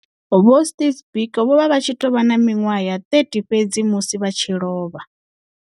Vho Steve Biko vho vha vha tshi tou vha na miṅwaha ya 30 fhedzi musi vha tshi lovha.